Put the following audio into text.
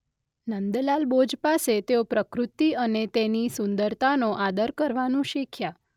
નંદલાલ બોઝ પાસે તેઓ પ્રકૃત્તિ અને તેની સુંદરતાનો આદર કરવાનું શીખ્યા.